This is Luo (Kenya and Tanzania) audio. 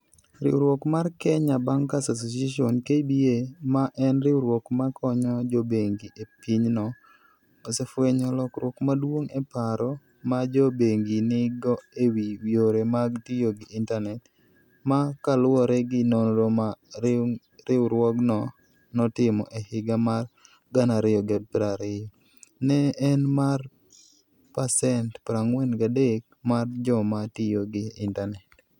Riwruok mar Kenya Bankers Association (KBA), ma en riwruok ma konyo jo bengi e pinyno, osefwenyo lokruok maduong' e paro ma jo bengi nigo e wi yore mag tiyo gi intanet, ma kaluwore gi nonro ma riwruogno notimo e higa mar 2020, ne en mar pasent 43 mar joma tiyo gi intanet.